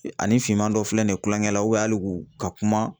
Ani finman dɔ filɛ nin ye kulonkɛ la hali u ka kuma